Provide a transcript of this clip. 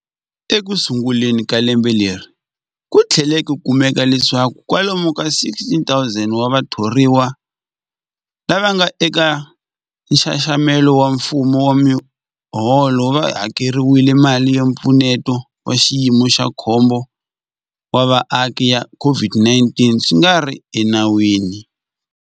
Ekusunguleni ka lembe leri, ku tlhele ku kumeka leswaku kwalomu ka 16,000 wa vathoriwa lava nga eka nxaxamelo wa mfumo wa miholo va hakeriwile mali ya Mpfuneto wa Xiyimo xa Khombo wa Vaaki ya COVID-19 swi nga ri enawini.